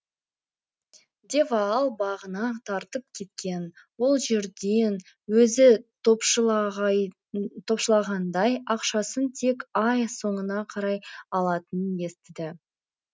де ваал бағына тартып кеткен ол жерден өзі топшылағандай ақшасын тек ай соңына қарай алатынын естіді